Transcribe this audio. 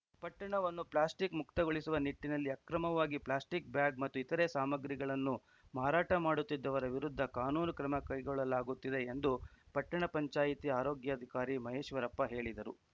ಪಟ್ಟಣವನ್ನು ಪ್ಲಾಸ್ಟಿಕ್‌ ಮುಕ್ತಗೊಳಿಸುವ ನಿಟ್ಟಿನಲ್ಲಿ ಅಕ್ರಮವಾಗಿ ಪ್ಲಾಸ್ಟಿಕ್‌ ಬ್ಯಾಗ್‌ ಮತ್ತು ಇತರೆ ಸಾಮಗ್ರಿಗಳನ್ನು ಮಾರಾಟ ಮಾಡುತ್ತಿದ್ದವರ ವಿರುದ್ಧ ಕಾನೂನು ಕ್ರಮ ಕೈಗೊಳ್ಳಲಾಗುತ್ತಿದೆ ಎಂದು ಪಟ್ಟಣ ಪಂಚಾಯಿತಿ ಆರೋಗ್ಯಾಧಿಕಾರಿ ಪರಮೇಶ್ವರಪ್ಪ ಹೇಳಿದರು